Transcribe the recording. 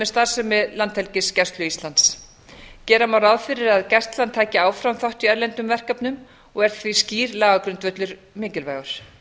starfsemi landhelgisgæslu íslands gera má ráð fyrir að gæslan taki áfram þátt í erlendum verkefnum og er því skýr lagagrundvöllur mikilvægur